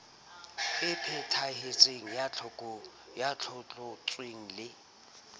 e phethahetseng ya tlotlontswe le